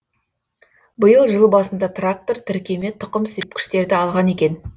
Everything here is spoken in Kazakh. биыл жыл басында трактор тіркеме тұқым сепкіштерді алған екен